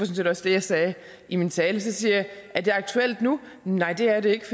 set også det jeg sagde i min tale så siger jeg er det aktuelt nu nej det er det ikke